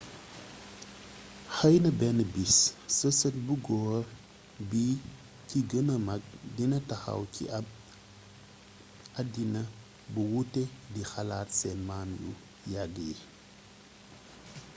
xeyna benn bis sa sët bu goor bi ci gëna mag dina taxaw ci ab àddina bu wuute di xalaat seen maam yu yagg yi ?